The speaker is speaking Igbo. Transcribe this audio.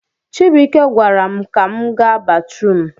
Chibuike gwaram ka m ga batrum